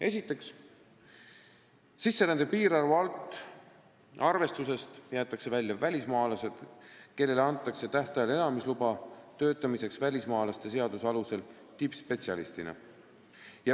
Esiteks, sisserände piirarvu arvestusest jäetakse välja välismaalased, kellele antakse tähtajaline elamisluba töötamiseks välismaalaste seaduse alusel tippspetsialistina.